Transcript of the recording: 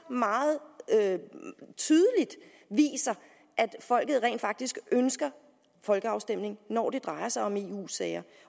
tydeligt viser at folket rent faktisk ønsker folkeafstemning når det drejer sig om eu sager